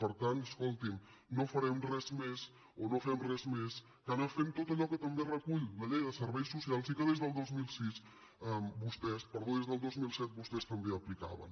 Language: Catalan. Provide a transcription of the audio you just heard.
per tant escoltin no farem res més o no fem res més que anar fent tot allò que també recull la llei de serveis socials i que des del dos mil set vostès també aplicaven